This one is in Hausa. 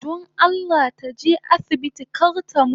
Don Allah taje asibiti kar ta mutu